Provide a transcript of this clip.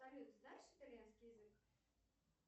салют знаешь итальянский язык